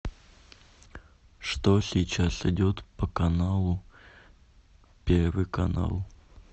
что сейчас идет по каналу первый канал